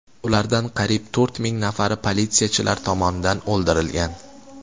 Ulardan qariyb to‘rt ming nafari politsiyachilar tomonidan o‘ldirilgan.